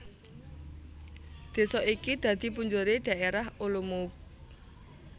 Désa iki dadi punjeré Dhaérah Olomouc